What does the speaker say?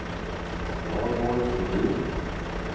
Valborg Flodin